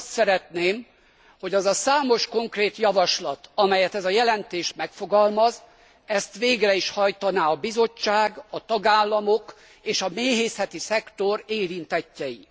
Azt szeretném, hogy azt a számos konkrét javaslatot, amelyet ez a jelentés megfogalmaz, végre is hajtaná a Bizottság, a tagállamok, és a méhészeti szektor érintettjei.